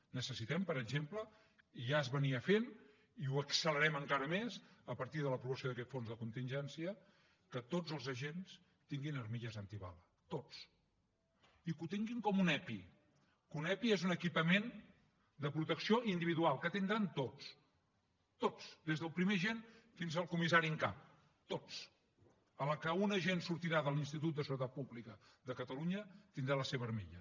necessitem per exemple i ja es feia i ho accelerem encara més a partir de l’aprovació d’aquest fons de contingència que tots els agents tinguin armilles antibales tots i que ho tinguin com un epi que un epi és un equipament de protecció individual que en tindran tots tots des del primer agent fins al comissari en cap tots a la que un agent sortirà de l’institut de seguretat pública de catalunya tindrà la seva armilla